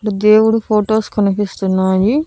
దేవుడు ఫొటోస్ కనిపిస్తున్నాయి.